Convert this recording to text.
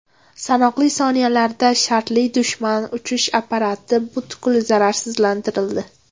Sanoqli soniyalarda shartli dushman uchish apparati butkul zararsizlantirildi.